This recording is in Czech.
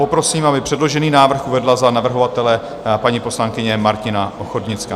Poprosím, aby předložený návrh uvedla za navrhovatele paní poslankyně Martina Ochodnická.